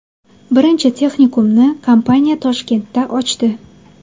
Birinchi texnikumni kompaniya Toshkentda ochdi.